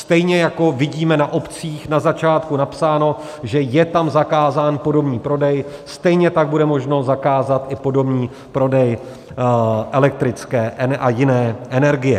Stejně jako vidíme na obcích na začátku napsáno, že je tam zakázán podomní prodej, stejně tak bude možno zakázat i podomní prodej elektrické a jiné energie.